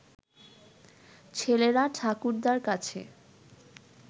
ছেলেরা ঠাকুরদার কাছে